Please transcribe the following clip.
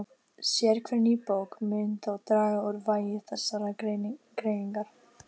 Sérhver ný bók mun þó draga úr vægi þessarar greiningar.